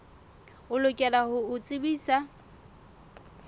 o lokela ho o tsebisa